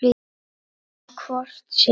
En hvort sem